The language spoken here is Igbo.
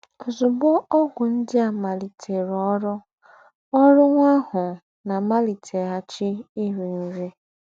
Ọ́zùgbó ógwù ńdị́ à màlìtèrụ̀ ọ́rụ́, ọ́rụ́, nwà àhụ̀ ná-àmàlìtèghàchì írì nrí.